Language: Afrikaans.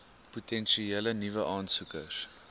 potensiële nuwe aansoekers